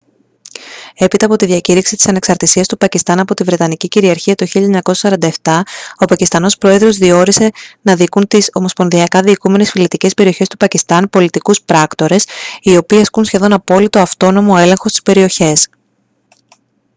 έπειτα από τη διακήρυξη της ανεξαρτησίας του πακιστάν από τη βρετανική κυριαρχία το 1947 ο πακιστανός πρόεδρος διόρισε να διοικούν τις ομοσπονδιακά διοικούμενες φυλετικές περιοχές του πακιστάν «πολιτικούς πράκτορες» οι οποίοι ασκούν σχεδόν απόλυτο αυτόνομο έλεγχο στις περιοχές